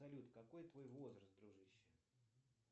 салют какой твой возраст дружище